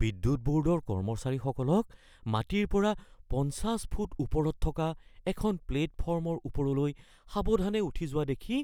বিদ্যুৎ ব’ৰ্ডৰ কৰ্মচাৰীসকলক মাটিৰ পৰা ৫০ ফুট ওপৰত থকা এখন প্লেটফৰ্মৰ ওপৰলৈ সাৱধানে উঠি যোৱা দেখি